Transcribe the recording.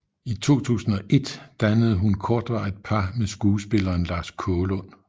I 2001 dannede hun kortvarigt par med skuespilleren Lars Kaalund